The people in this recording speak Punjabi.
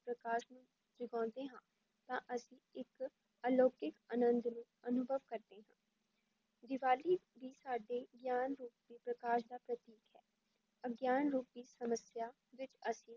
ਪ੍ਰਕਾਸ਼ ਨੂੰ ਜਗਾਉਂਦੇ ਹਾਂ ਤਾਂ ਅਸੀਂ ਇੱਕ ਅਲੋਕਿਕ ਆਨੰਦ ਨੂੰ ਅਨੁਭਵ ਕਰਦੇ ਹਾਂ ਦੀਵਾਲੀ ਵੀ ਸਾਡੇ ਗਿਆਨ ਰੂਪੀ ਪ੍ਰਕਾਸ਼ ਦਾ ਪ੍ਰਤੀਕ ਹੈ, ਅਗਿਆਨ ਰੂਪੀ ਸਮੱਸਿਆ ਵਿੱਚ ਅਸੀਂ,